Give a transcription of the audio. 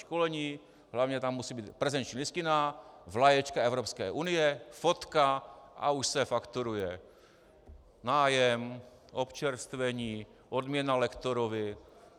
Školení, hlavně tam musí být prezenční listina, vlaječka Evropské unie, fotka, a už se fakturuje nájem, občerstvení, odměna lektorovi.